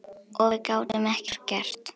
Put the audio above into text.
Og við gátum ekkert gert.